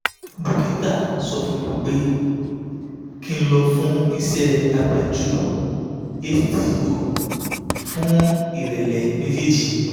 dókítà sọ fún mi pé kí n lọ fún ìṣẹ́ abẹ́jú hto fún ìrẹ́lẹ̀ méjèèjì